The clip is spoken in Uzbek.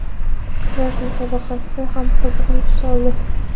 Kurash musobaqasi ham qizg‘in tus oldi.